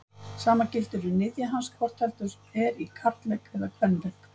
Sama gildir um niðja hans hvort heldur er í karllegg eða kvenlegg.